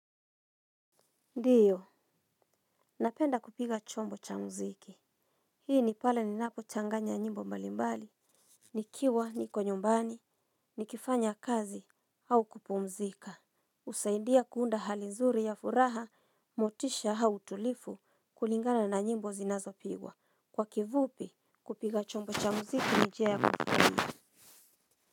Ndiyo, napenda kupiga chombo cha mziki. Hii ni pale ninapo changanya nyimbo mbalimbali, nikiwa, niko nyumbani, nikifanya kazi, au kupumzika. Husaidia kuunda hali nzuri ya furaha, motisha au utulivu kulingana na nyimbo zinazopigwa. Kwa kifupi, kupiga chombo cha mziki ni njia ya kupumzika.